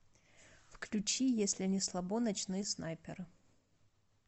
включи если не слабо ночные снайперы